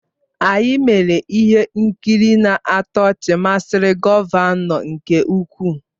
Anyị mere ihe nkiri na-atọ ọchị masịrị gọvanọ nke ukwuu.